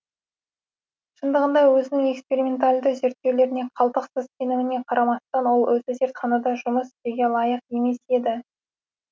шындығында өзінің эксперименталды зерттеулеріне қалтықсыз сеніміне қарамастан ол өзі зертханада жұмыс істеуге лайық емес еді